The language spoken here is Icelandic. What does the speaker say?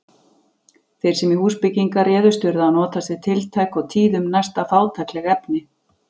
Þeir sem í húsbyggingar réðust urðu að notast við tiltæk og tíðum næsta fátækleg efni.